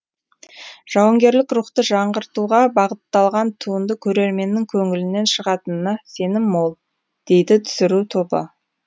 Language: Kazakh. жауынгерлік рухты жаңғыртуға бағытталған туынды көрерменнің көңілінен шығатынына сенім мол дейді түсіру тобы